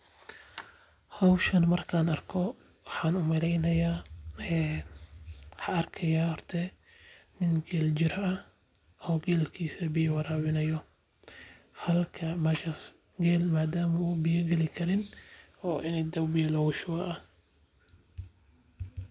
Hawshan markaan arko waxan u maleynaya he waxa arkeya arta nin geel jir caw o geelkiisa biyo waraawaynayo. Halka mashaas geelma daam u biyo geli karin oo in daw biyo la wushuba.